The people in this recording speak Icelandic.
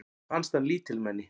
Mér fannst hann lítilmenni.